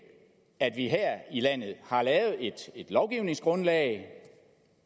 at vi her i landet har lavet et lovgivningsgrundlag